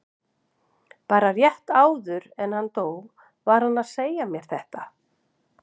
Bara rétt áður en hann dó var hann að segja mér þetta.